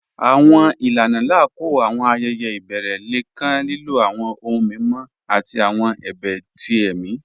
Àwọn ilànà lákọọ̀ àwọn ayẹyẹ̀ ibẹ̀rẹ̀ lẹ̀ kàn lílọ̀ àwọn ọ̀hùn mímọ̀ àti àwọn ẹ̀bẹ̀ tí ẹ̀mi.